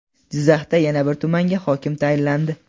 Jizzaxda yana bir tumanga hokim tayinlandi.